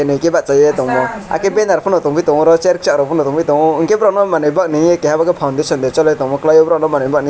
hingke bachayei tango ah khe benar po tangoi tango aro cher chair pano tangoi tango hingke borogno manui bagnaye keha bo khei foundation cholitongma kalaio borogno manui bagnaye.